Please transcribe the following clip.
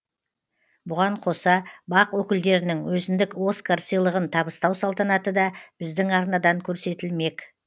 бұған қоса бақ өкілдерінің өзіндік оскар сыйлығын табыстау салтанаты да біздің арнадан көрсетілмек